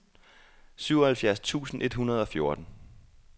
syvoghalvfjerds tusind et hundrede og fjorten